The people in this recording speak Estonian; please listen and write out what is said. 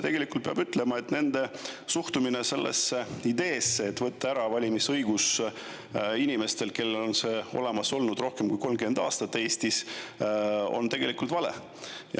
Tegelikult peab ütlema, et nende suhtumine ideesse võtta ära valimisõigus Eestis inimestelt, kellel on see olemas olnud rohkem kui 30 aastat, oli, et see on tegelikult vale.